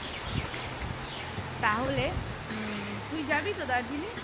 তা হলে উম তুই যাবি তো দার্জিলিং?